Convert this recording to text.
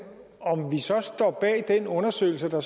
om vi så står bag den undersøgelse der